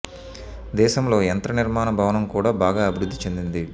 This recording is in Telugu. దేశంలో యంత్ర నిర్మాణ భవనం కూడా బాగా అభివృద్ధి చెందింది